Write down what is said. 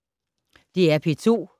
DR P2